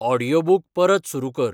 audiobook परत सुरू कर